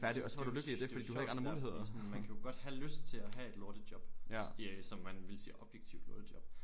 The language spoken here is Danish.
Det jo det jo sjovt det der fordi sådan man kan jo godt have lyst til at have et lortejob som man ville sige objektivt lortejob